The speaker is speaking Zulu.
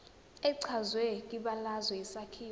echazwe kwibalazwe isakhiwo